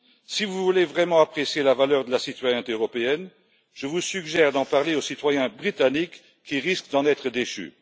Si vous voulez vraiment apprécier la valeur de la citoyenneté européenne, je vous suggère d'en parler aux citoyens britanniques qui risquent d'en être déchus.